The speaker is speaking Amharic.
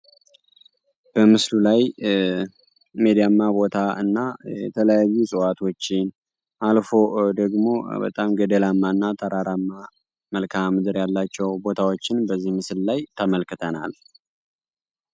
በምስሉ ላይ ሜዳማ ቦታ እና የተለያዩ እፅዋቶችን አልፎ አልፎ ደግሞ በጣም ገደላማ መልከአ ምድር ያላቸው ቦታዎችን በዚህ ምስል ተመልክተናል።